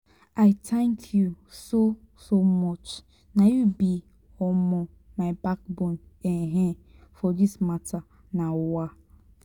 i thank you so so much na you be um my backbone um for this mata. um